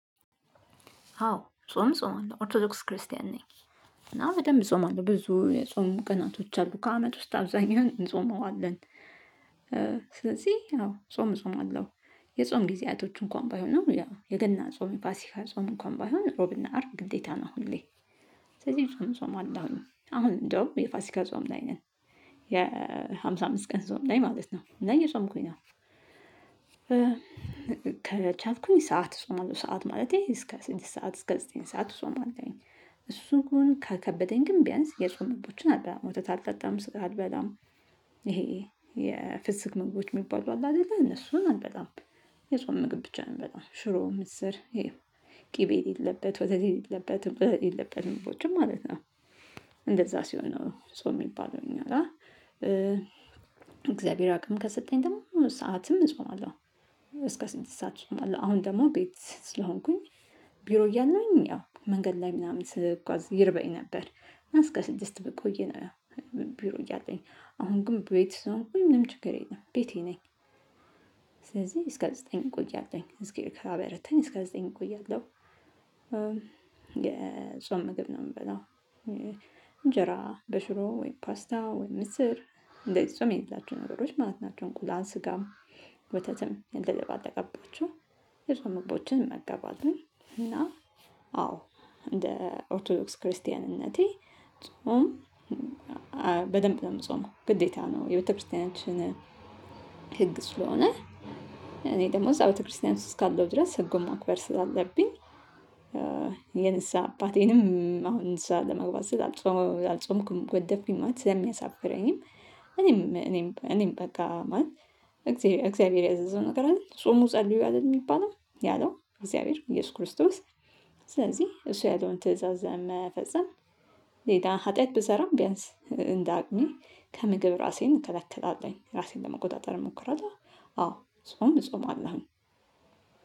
አዎ ጾም ጾማለሁ ኦርቶዶክስ ክርስቲያን ነኝ። እና በደንብ እጾማለሁ አለ ብዙ የጾም ቀናቶች አሉ ከአመት ውስጥ አብዛኛውን እንጾመዋለን። ስለዚህ አዎ ጾም እጾማለሁ። የጾም ጊዜያቶች እንኳን ባይሆንም ያው የገና ጾም ፋሲካ ጾም እንኳን ባይሆን ሮብና አርብ ግዴታ ነው። ሁሌ ስለዚህ ጾም ጾማለሁኝ አሁን እንደውም የፋሲካ ጾም ላይ ነን። የሃምሳ አምስት ቀን ጾም ላይ ማለት ነው እና እየጾምኩኝ ነው። ከቻልኩኝ ሰዓት ጾማለሁ ሰዓት ማለቴ እስከ ስድስት ሰዓት እስከ ዘጠኝ ሰዓት ጾማለሁኝ። እሱ ግን ከከበደኝ ግን ቢያንስ የጾም ህጎችን አልበላም ወተት አልጠጣም ስጋ አልበላም። ይሄ የፍስክ ምግቦች ሚባሉ አሉ አይደለ እነሱን አልበላም። የጾም ምግብ ብቻ ነው ምበላው ሽሮ ምስር ይሄ ቅቤ የሌለበት ወተት የሌለበት እንቁላል የሌለበት ምግቦችን ማለት ነው። እንደዛ ሲሆን ነው ጾም ሚባለው እኛ ጋ። እግዚአብሔር አቅም ከሰጠኝ ደግሞ ሙሉ ሰዓትም እጾማለሁ። እስከ ስድስት ሰዓት እጾማለሁ አሁን ደግሞ ቤት ስለሆንኩኝ። ቢሮ እያለሁኝ ያው መንገድ ላይ ምናምን ስጓዝ ይርበኝ ነበር። እስከ ስድስት ብቆይ ነው። ቢሮ እያለኝ አሁን ግን ቤት ስለሆንኩኝ ምንም ችግር የለም ቤቴ ነኝ። ስለዚህ እስከ ዘጠኝ ቆያለሁኝ እግዜር ካበረታኝ እስከ ዘጠኝ ቆያለሁ። የጾም ምግብ ነው ምበላው። እንጀራ በሽሮ ወይም ፓስታ ወይም ምስር እንደዚህ ጾም የሌላቸው ነገሮች ማለት ናቸው። እንቁላል ስጋም ውተትም እንደ ልብ አልተጋባቸውም። የጾም ምግቦችን እመገባለሁ። እና አዎ እንደ ኦርቶዶክስ ክርስቲያንነቴ ጾም በደንብ ነው ምጾመው ነው ግዴታ ነው የቤተክርስቲያናችን ህግ ስለሆነ። እኔ ደግሞ እዛ ቤተክርስቲያን እስካለው ድረስ ህጉን ማክበር ስላለብኝ። የንስሃ አባቴንም አሁን ንስሃ ለመግባት ስል አልጾ አልጾምኩም ጎደፍኩኝ ማለት ስለሚያሳፍረኝም። እኔም እኔም እኔም በቃ ማለት እግዚአብሔር እግዚአብሔር ያዘዘው ነገር አይደል ጹሙ ጸልዩ አይደል እሚባለው ያለው እግዚአብሔር ኢየሱስ ክርስቶስ። ስለዚህ እሱ ያለውን ትእዛዝ መፈጸም። ሌላ ኃጢአት ብሰራም ቢያንስ እንዳቅሜ ከምግብ ራሴን እከላከላለሁኝ ራሴን ለመቆጣጠር እሞክራለሁ። አዎ ጾም እጾማለሁ።